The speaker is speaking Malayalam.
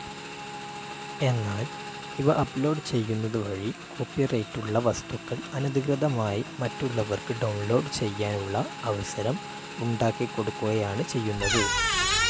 എന്നാൽ ഇവ അപ്ലോഡ്‌ ചെയ്യുന്നത് വഴി കോപ്പിറൈറ്റുള്ള വസ്തുക്കൾ അനധികൃതമായി മറ്റുള്ളവർക്ക് ഡൌൺലോഡ്‌ ചെയ്യാനുള്ള അവസരം ഉണ്ടാക്കിക്കൊടുക്കുകയാണ് ചെയ്യുന്നത്.